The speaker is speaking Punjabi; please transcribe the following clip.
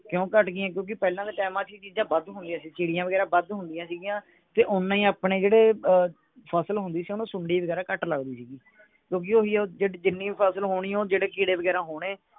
ਕਿਓਂ ਘੱਟ ਗਿਆ ਕਿਓਂਕਿ ਪਹਿਲਾਂ ਦੇ ਟੈਮ ਚ ਇਹ ਚੀਜਾਂ ਵੱਧ ਹੁੰਦੀਆਂ ਸੀ ਚਿੜੀਆਂ ਵਗੈਰਾ ਵੱਧ ਹੁੰਦੀਆਂ ਸਿਗਿਆ ਤੇ ਓਨਾ ਹੀ ਆਪਣੇ ਜਿਹੜੇ ਅਹ ਫਸਲ ਹੁੰਦੀ ਸੀ ਓਹਨੂੰ ਸੁੰਡੀ ਵਗੈਰਾ ਘੱਟ ਲਗਦੀ ਸੀਗੀ ਕਿਓਂਕਿ ਓਹੀ ਉਹ ਜਿਹੜੀ ਜਿੰਨੀ ਫਸਲ ਹੋਣੀ ਉਹ ਜਿਹੜੇ ਕੀੜੇ ਵਗੈਰਾ ਹੋਣੇ